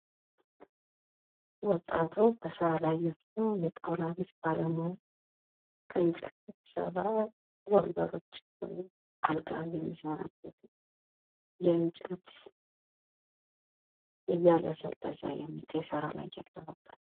ወጣቱ በስራ ላይ ያለ የጣውላ ባለሚያ ቤት ባለሙያ ከእንጨት የተሰራ ወንበሮች ወይም አልጋ የሚሰራበት የእንጨት እያለሰለሰ የሚገኝ ስራ ላይ ያለ በቃ።